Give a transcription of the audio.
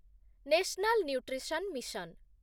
national nutrition mission